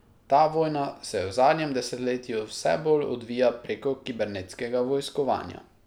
Ta vojna se v zadnjem desetletju vse bolj odvija preko kibernetskega vojskovanja.